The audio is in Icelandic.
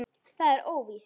Það er óvíst.